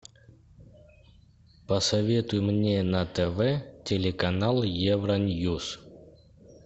посоветуй мне на тв телеканал евроньюс